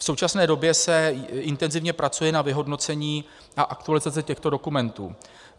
V současné době se intenzivně pracuje na vyhodnocení a aktualizaci těchto dokumentů.